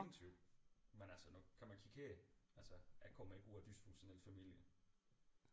Ja ingen tvivl men altså nu kan man kigge her altså jeg kommer ikke ud af en dysfunktionel familie